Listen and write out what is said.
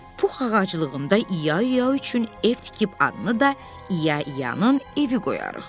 Pux ağaclığında İya üçün ev tikib adını da İyanın evi qoyarıq.